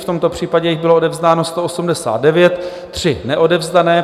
V tomto případě jich bylo odevzdáno 189, 3 neodevzdané.